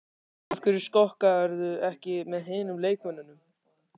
Af hverju skokkarðu ekki með hinum leikmönnunum?